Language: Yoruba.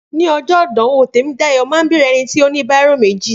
Ni ọjọ́ ìdánwò Tèmídayọ̀ máa bèèrè ẹnití ó ní bírò méjì